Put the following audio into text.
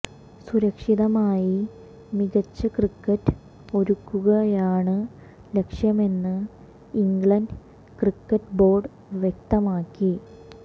സുരക്ഷിതമായി മികച്ച ക്രിക്കറ്റ് ഒരുക്കുകയാണ് ലക്ഷ്യമെന്ന് ഇംഗ്ലണ്ട് ക്രിക്കറ്റ് ബോര്ഡ് വ്യക്തമാക്കി